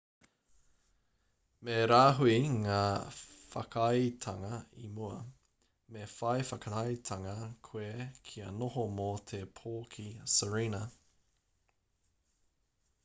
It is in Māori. me rāhui ngā whakaaetanga i mua me whai whakaaetanga koe kia noho mō te pō ki sirena